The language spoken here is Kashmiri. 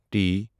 ٹی